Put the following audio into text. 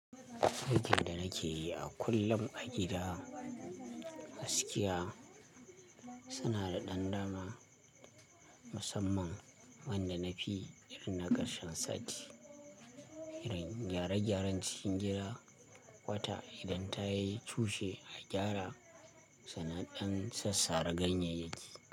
Aikin da nake yi a kullum a gida, gaskiya suna da dan dama musamman wanda nafi yi irin na karshen sati. Irin gyare gyaren cikin gida wata idan ta yi cushe a gyara, sannan dan sassare ganyeyaki.